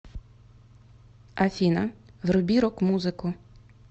афина вруби рок музыку